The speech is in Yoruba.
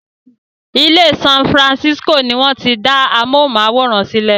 Ilẹ́ San Francisco ni wọ́n ti dá amóhùnmáwòrán sílẹ